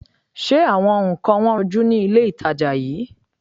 Ṣé àwọn nǹkan wọn rọjú ni ilé-ìtàjà yìí?